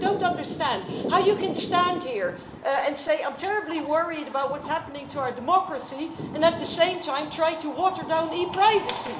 I really don't understand how you can stand here and say I'm terribly worried about what's happening to our democracy' and at the same time try to water down e privacy.